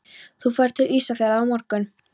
Þú ferð til Ísafjarðar á morgun.